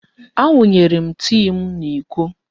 Awụnyere m tii m n'iko.